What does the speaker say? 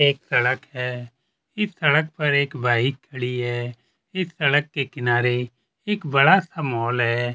एक सड़क है इस सड़क पे एक बाइक खड़ी है इस सड़क के किनारे एक बड़ा सा मॉल है।